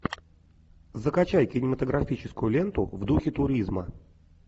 закачай кинематографическую ленту в духе туризма